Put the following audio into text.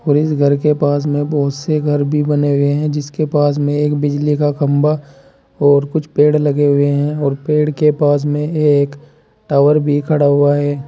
और इस घर के पास में बहोत से घर भी बने हुए हैं जिसके पास में एक बिजली का खंभा और कुछ पेड़ लगे हुए हैं और पेड़ के पास में एक टावर भी खड़ा हुआ है।